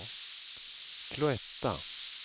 Cloetta